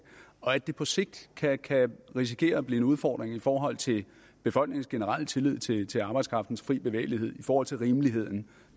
og at det på sigt kan kan risikere at blive en udfordring i forhold til befolkningens generelle tillid tillid til arbejdskraftens fri bevægelighed i forhold til rimeligheden